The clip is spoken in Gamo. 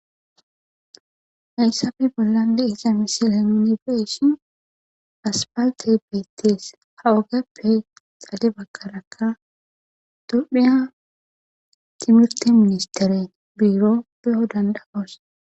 Hayisappe bolla diza misileni beyishini asifaliteyi bettesi, tophiya timirite ministry birro beyo danidayosi